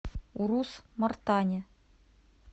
урус мартане